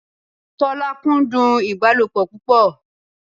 Tọ́lá kúndùn ìbálòpọ̀ púpọ̀